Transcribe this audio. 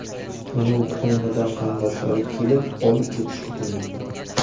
Uni Ukrainadan qarindoshlari kelib olib ketishi kutilmoqda.